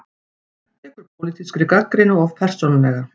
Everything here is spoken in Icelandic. Tekur pólitískri gagnrýni of persónulega